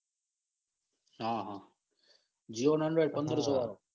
હ હ જીઓ ના અંદર પંદરસો વાળો.